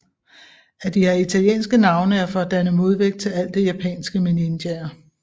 At de har italienske navne er for at danne modvægt til alt det japanske med ninjaer